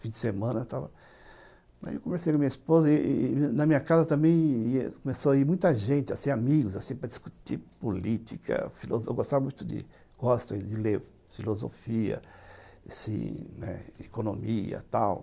Fim de semana, estava... Aí eu conversei com a minha esposa e e na minha casa também começou a ir muita gente, assim, amigos, assim, para discutir política, filosofia, eu gostava muito de... gosto de ler filosofia, assim, né, economia, tal.